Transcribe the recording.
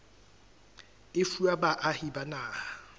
e fuwa baahi ba naha